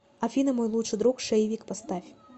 афина мой лучший друг шейвик поставь